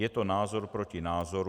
Je to názor proti názoru.